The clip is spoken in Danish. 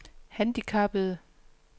handicappede